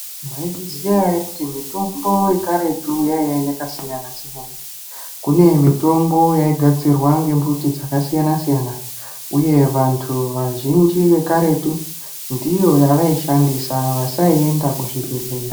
Mwaizviziya ere kuti mitombo yekaretu yaiya yakasiyana-siyana. Kune mitombo yaigadzirwa ngembuti dzakasiyana-siyana uye vantu vazhinji vekaretu ndiyo yavaishandisa. Vasaienda kuzvibhedhleya.